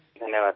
ধন্যবাদ স্যার